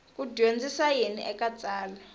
ku dyondzisa yini eka tsalwa